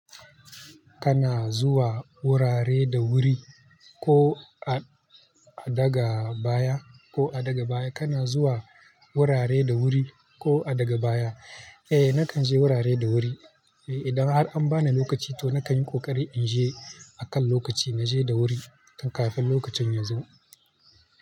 Kana zuwa wurare da wuri ko a daga baya ko a daga baya? Kana zuwa wurare da wuri ko a daga baya? Eh, nakan je wurare da wuri. Eh, idan har an bani lokaci to nakan yi ƙoƙari in je akan lokaci. Na je da wuri kafin lokacin ya zo.